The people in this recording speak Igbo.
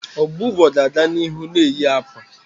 Ọbọgwụ ga-aga n'ihu na-eyi akwa